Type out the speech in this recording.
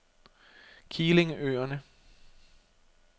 Keelingøerne